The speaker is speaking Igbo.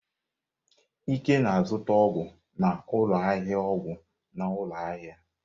Ike na-azụta ọgwụ n'ụlọ ahịa ọgwụ n'ụlọ ahịa.